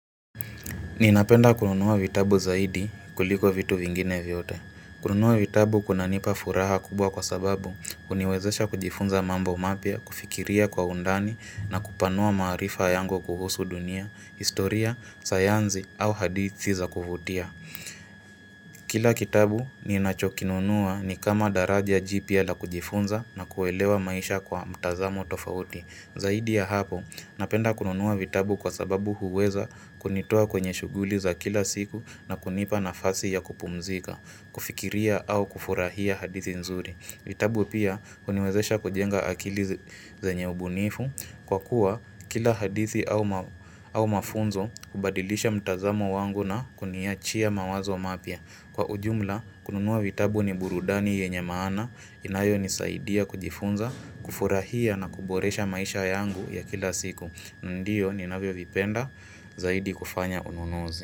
Ninapenda kununua vitabu zaidi kuliko vitu vingine viyote. Kununua vitabu kuna nipa furaha kubwa kwa sababu huniwezesha kujifunza mambo mapya, kufikiria kwa undani na kupanua maarifa yangu kuhusu dunia, historia, sayanzi au hadithi za kuvutia. Kila kitabu ninachokinunua ni kama daraja jipya la kujifunza na kuelewa maisha kwa mtazamo tofauti. Zaidi ya hapo, napenda kununua vitabu kwa sababu huweza kunitoa kwenye shughuli za kila siku na kunipa nafasi ya kupumzika, kufikiria au kufurahia hadithi nzuri. Vitabu pia, uniwezesha kujenga akili zenye ubunifu, kwa kuwa kila hadithi au mafunzo hubadilisha mtazamo wangu na kuniachia mawazo mapya. Kwa ujumla, kununua vitabu ni burudani yenye maana inayo nisaidia kujifunza, kufurahia na kuboresha maisha yangu ya kila siku. Ndiyo ninavyo vipenda zaidi kufanya ununuzi.